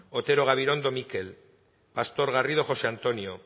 otero gabirondo mikel pastor garrido josé antonio